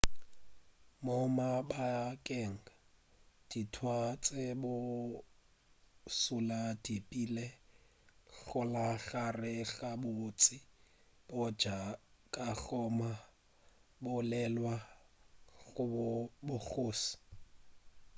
mo mabakeng a dintwa tše bošula di bile gona gare ga bontši bja bakgoma bo lwela bogoši